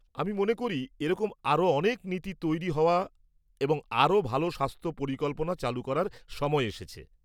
আমি মনে করি, এরকম আরও অনেক নীতি তৈরি হওয়া এবং আরও ভালো স্বাস্থ্য পরিকল্পনা চালু করার সময় এসেছে।